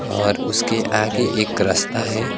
और उसके आगे एक रास्ता है।